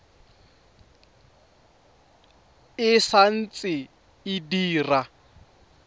e sa ntse e dira